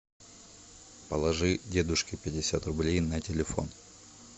положи дедушке пятьдесят рублей на телефон